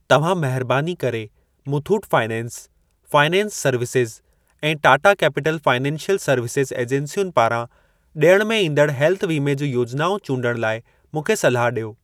तव्हां महिरबानी करे मुथूट फाइनेंस, फाइनेंस सर्विसेज़ ऐं टाटा कैपिटल फाइनेंसियल सर्विसेज़ एजेंसियुनि पारां ॾियण में ईंदड़ हेल्थ वीमे जूं योजनाऊं चूंडण लाइ मूंखे सलाह ॾियो।